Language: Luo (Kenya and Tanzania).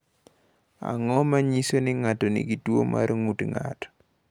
Ang’o ma nyiso ni ng’ato nigi tuwo mar ng’ut ng’ato?